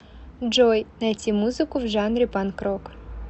джой найти музыку в жанре панк рок